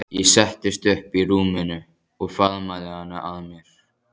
Ég settist upp í rúminu og faðmaði hana að mér.